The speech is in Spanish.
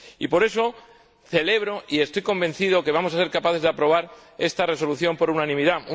Por eso, celebro y estoy convencido de que vamos a ser capaces de aprobar esta resolución por unanimidad.